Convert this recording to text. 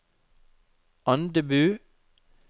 Andebu